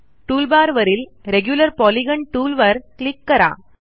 टूलबारवरील regular polygon टूलवर click करा